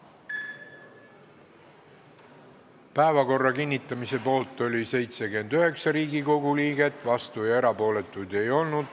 Hääletustulemused Päevakorra kinnitamise poolt oli 79 Riigikogu liiget, vastuolijaid ega erapooletuid ei olnud.